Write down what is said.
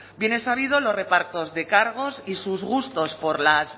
bien es sabido los repartos de cargos y sus gustos por las